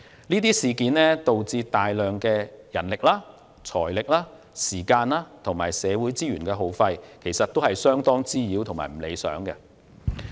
這些事件導致耗費大量人力、財力、時間和社會資源，相當滋擾和不理想。